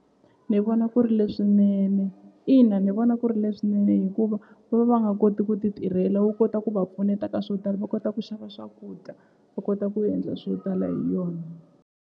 Ni vona ku ri leswinene ina ni vona ku ri leswinene hikuva va va va nga koti ku ti tirhela wu kota ku va pfuneta ka swo tala va kota ku xava swakudya va kota ku endla swo tala hi yona.